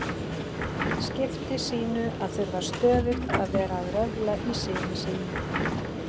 skipti sínu að þurfa stöðugt að vera að röfla í syni sínum.